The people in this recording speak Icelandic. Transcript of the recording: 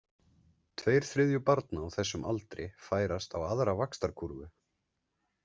Tveir þriðju barna á þessum aldri færast á aðra vaxtarkúrfu.